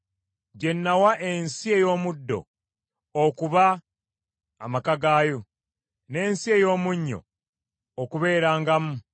gye nawa ensi ey’omuddo okuba amaka gaayo, n’ensi ey’omunnyo okubeerangamu?